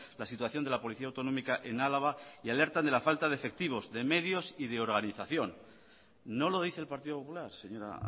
la situación de la policía autonómica en álava y alertan de la falta de efectivos de medios y de organización no lo dice el partido popular señora